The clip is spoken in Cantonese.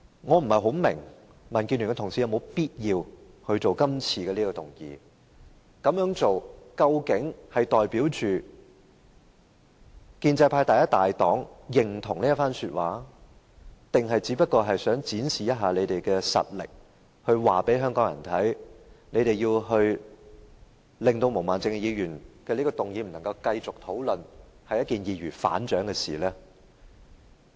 我不大明白民建聯議員是否有必要提出這項議案，這樣做究竟是代表建制派第一大黨認同這一番說話，還是只想展示實力，告訴香港人他們要令毛孟靜議員的議案不能繼續討論下去，是一件易如反掌的事情？